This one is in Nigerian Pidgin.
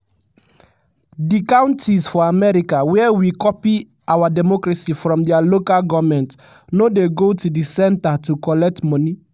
"di counties for america wia we copy our democracy from dia local goments no dey go to di centre to collect money."